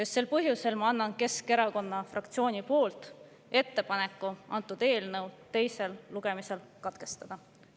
Just sel põhjusel teen ma Keskerakonna fraktsiooni nimel ettepaneku selle eelnõu teine lugemine katkestada.